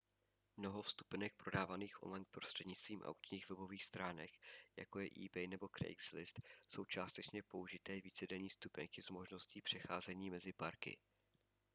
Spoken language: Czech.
mnoho vstupenek prodávaných online prostřednictvím aukčních webových stránek jako je ebay nebo craigslist jsou částečně použité vícedenní vstupenky s možností přecházení mezi parky